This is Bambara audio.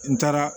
N taara